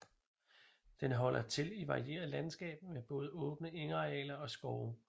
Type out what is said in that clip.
Den holder til i varieret landskab med både åbne engarealer og skove